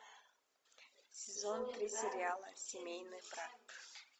сезон три сериала семейный брак